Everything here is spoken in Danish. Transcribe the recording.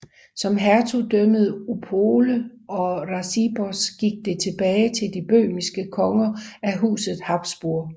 Som hertugdømmet Opole og Racibórz gik det tilbage til de bøhmiske konger af Huset Habsburg